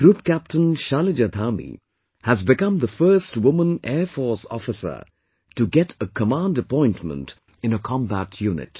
Group Captain Shalija Dhami has become the first woman Air Force officer to get a Command Appointment in a Combat Unit